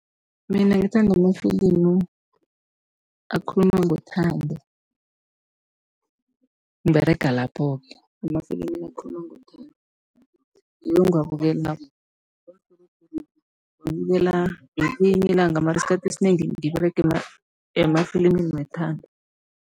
Mina ngithanda amafilimu akhuluma ngothando, ngiberega lapho-ke emafilimini akhuluma ngothando. Ngiwo engiwabukelako ngiwabukela ngelinye ilanga mara isikhathi esinengi ngiberega emafilimini wethando.